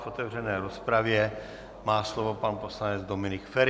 V otevřené rozpravě má slovo pan poslanec Dominik Feri.